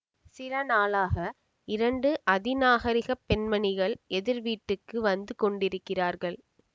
சில நாளாக இரண்டு அதி நாகரிகப் பெண்மணிகள் எதிர் வீட்டுக்கு வந்து கொண்டிருக்கிறார்கள்